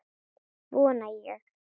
Vona ég.